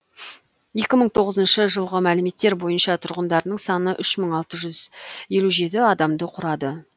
екі мың тоғызыншы жылғы мәліметтер бойынша тұрғындарының саны үш мың алты жүз елу жеті адамды құрады